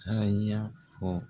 Sara y'a fɔ